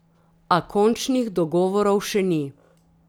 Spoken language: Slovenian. A končnih dogovorov še ni.